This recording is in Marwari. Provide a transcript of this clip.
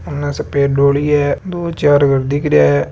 अन सफेद डोली है दो चार घर दिखरिया है।